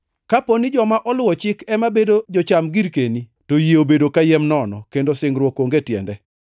Kapo ni joma oluwo chik ema bedo jocham girkeni, to yie obedo kayiem nono, kendo singruok onge tiende,